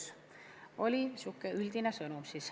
See oli sihuke üldine sõnum.